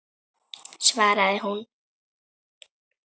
svaraði hún.